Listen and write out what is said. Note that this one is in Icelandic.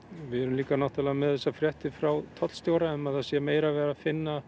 við erum líka með þessar fréttir frá tollstjóra um að það sé meira verið að finna